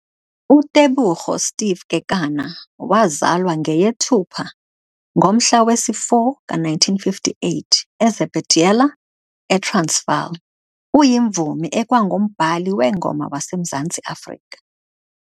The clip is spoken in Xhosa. UTebogo Steve Kekana, wazalwa ngeyeThupha ngomhla wesi-4 ka1958 eZebediela, eTransvaal, uyimvumi ekwangumbhali weengoma waseMzantsi Afrika.